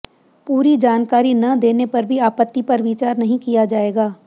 पूरी जानकारी न देने पर भी आपत्ति पर विचार नहीं किया जाएगा